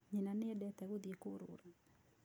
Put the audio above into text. Nyina nĩ endete gũthiĩ kũũrũra.